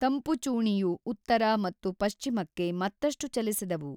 ತಂಪುಚೂಣಿಯು ಉತ್ತರ ಮತ್ತು ಪಶ್ಚಿಮಕ್ಕೆ ಮತ್ತಷ್ಟು ಚಲಿಸಿದವು.